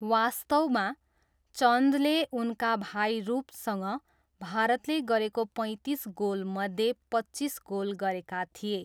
वास्तवमा, चन्दले उनका भाइ रूपसँग भारतले गरेको पैँतिस गोलमध्ये पच्चिस गोल गरेका थिए।